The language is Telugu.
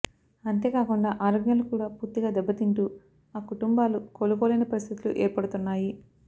అంతేకాకుండా ఆరోగ్యాలు కూడా పూర్తిగా దెబ్బతింటూ ఆకుటుంబాలు కోలుకోలేని పరిస్థితులు ఏర్పడుతున్నాయి